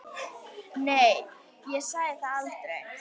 Nei, ég sagði það aldrei.